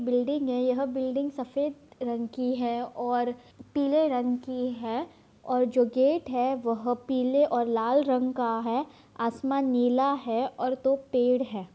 Building है। यह building सफेद रंग की है और पीले रंग की है और जो गेट है वह पीले और लाल रंग का है। आसमान नीला है और दो पेड़ है।